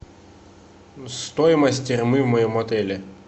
стоимость термы в моем отеле